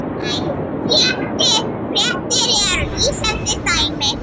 Tvær fréttir eru lýsandi dæmi.